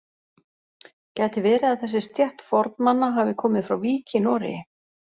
Gæti verið að þessi stétt fornmanna hafi komið frá Vík í Noregi?